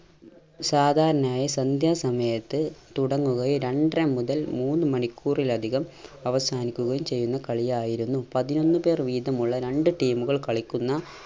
സാധാരണയായി സന്ധ്യാ സമയത്ത് തുടങ്ങുകയും രണ്ടര മുതൽ മൂന്ന് മണിക്കൂറിൽ അധികം അവസാനിക്കുകയും ചെയ്യുന്ന കളിയായിരുന്നു. പതിനൊന്ന് പേർ വീതമുള്ള രണ്ട് team കൾ കളിക്കുന്ന